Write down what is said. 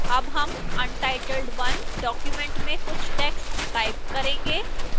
अब हम untitled 1 document में कुछ text type करेंगे